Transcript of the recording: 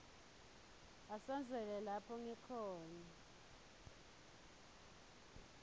asondzele lapho ngikhona